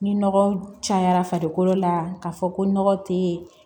Ni nɔgɔ cayara farikolo la ka fɔ ko nɔgɔ te